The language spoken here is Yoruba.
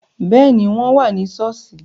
Béẹ̀ ni, wọ́n wà ni ṣọ́ọ́ṣì